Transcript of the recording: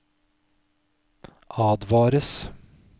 advares